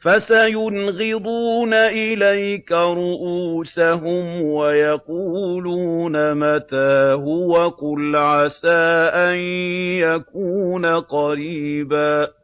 فَسَيُنْغِضُونَ إِلَيْكَ رُءُوسَهُمْ وَيَقُولُونَ مَتَىٰ هُوَ ۖ قُلْ عَسَىٰ أَن يَكُونَ قَرِيبًا